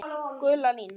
Gula línan.